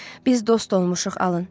Biz dost olmuşuq, alın.